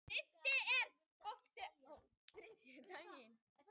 Siddi, er bolti á þriðjudaginn?